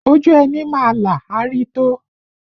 Ojú ẹni má là, a rí tó